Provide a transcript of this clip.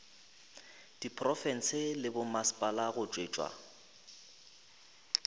diprofense le bommasepala go tšwetša